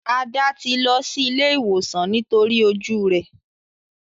Ada ti ló sí ìlé ìwòsan nítorí ojú rẹ.